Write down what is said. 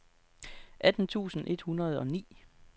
atten tusind et hundrede og ni